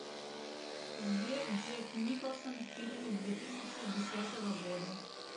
сбер джек николсон в фильме две тысячи десятого года